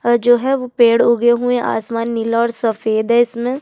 और जो है वो पेड़ उगे हुए है आसमान नीला और सफ़ेद है इसमें --